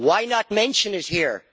Why not mention it here?